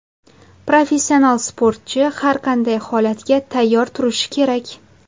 Professional sportchi har qanday holatga tayyor turishi kerak.